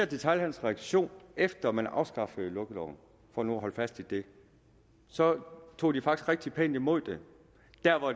detailhandelens reaktion efter at man afskaffede lukkeloven for nu at holde fast i det tog tog de faktisk rigtig pænt imod det